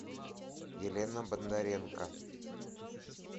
елена бондаренко